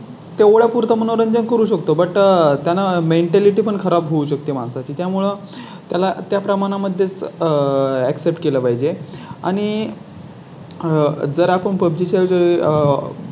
तो तेवढय़ा पुरता मनोरंजन करू शकतो. But त्यांना Mentality पण खराब होऊ शकते माणसा ची त्यामुळे त्याला त्या प्रमाणा मध्येच accept केलं पाहिजे आणि. आह जर आपण पब्जी चा जो आह